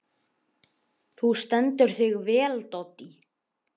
Þú stendur þig vel, Doddý!